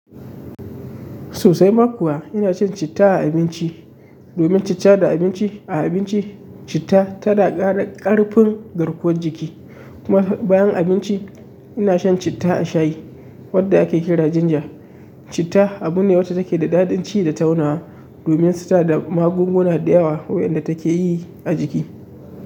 Sosai ma kuwa ina cin citta a abinci domin citta da abinci a abinci, citta tana ƙara ƙarfin garkuwar jiki. Kuma bayan abinci ina shan citta a shayi wadda ake kira ginger. Citta abu ne wanda take da dadanci da taunawa domin suna da magunguna da yawa waɗanda take yi a jiki.